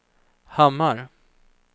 Hammar